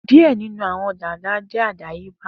Diẹ ninu awọn dada jẹ adayeba.